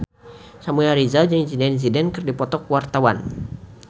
Samuel Rizal jeung Zidane Zidane keur dipoto ku wartawan